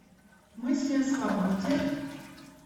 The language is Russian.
мысли о свободе